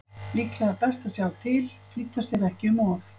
Líklega er best að sjá til, flýta sér ekki um of.